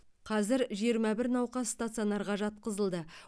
қазір жиырма бір науқас стационарға жатқызылды